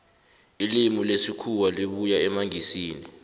ilimi lesikhuwa libuya emangisini